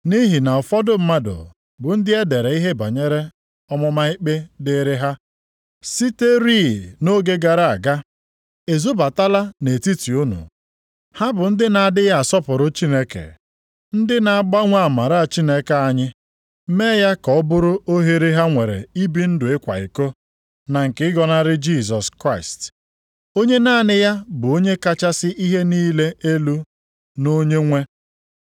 Nʼihi na ụfọdụ mmadụ, bụ ndị e dere ihe banyere ọmụma ikpe dịrị ha, siterị nʼoge gara aga, ezobatala nʼetiti unu. Ha bụ ndị na-adịghị asọpụrụ Chineke, ndị na-agbanwe amara Chineke anyị, mee ya ka ọ bụrụ ohere ha nwere ibi ndụ ịkwa iko, na nke ịgọnarị Jisọs Kraịst, onye naanị ya bụ Onye kachasị ihe niile elu na Onyenwe.